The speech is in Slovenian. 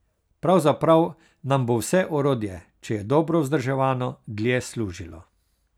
Pravzaprav nam bo vse orodje, če je dobro vzdrževano, dlje služilo.